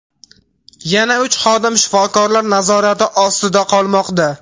Yana uch xodim shifokorlar nazorati ostida qolmoqda.